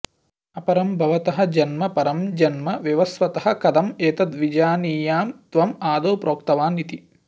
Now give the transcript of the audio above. अपरं भवतः जन्म परं जन्म विवस्वतः कथम् एतत् विजानीयां त्वम् आदौ प्रोक्तवान् इति